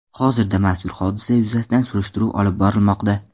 Hozirda mazkur hodisa yuzasidan surishtiruv olib borilmoqda.